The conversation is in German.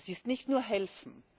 Das ist nicht nur Helfen.